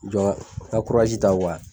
Jɔn i ka ta